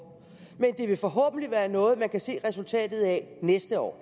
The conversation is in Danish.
men det vil forhåbentlig være noget man kan se resultatet af næste år